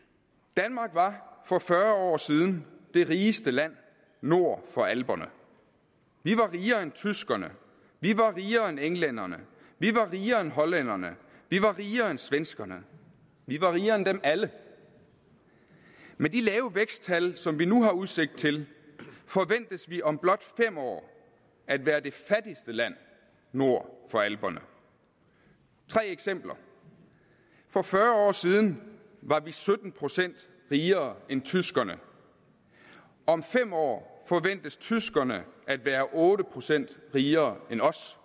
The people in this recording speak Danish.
danmark var for fyrre år siden det rigeste land nord for alperne vi var rigere end tyskerne vi var rigere end englænderne vi var rigere end hollænderne vi var rigere end svenskerne vi var rigere end dem alle med de lave væksttal som vi nu har udsigt til forventes vi om blot fem år at være det fattigste land nord for alperne tre eksempler for fyrre år siden var vi sytten procent rigere end tyskerne om fem år forventes tyskerne at være otte procent rigere end os